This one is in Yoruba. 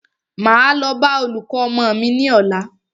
Máa lọ bá olùkọ́ ọmọ mí ní ọ̀la.